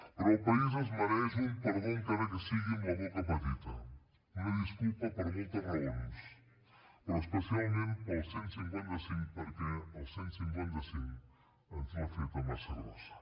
però el país es mereix un perdó encara que sigui amb la boca petita una disculpa per moltes raons però especialment pel cent i cinquanta cinc perquè el cent i cinquanta cinc ens l’ha feta massa grossa